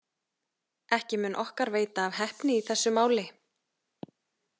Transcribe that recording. Ekki mun okkar veita af heppni í þessu máli.